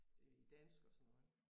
Øh i dansk og sådan noget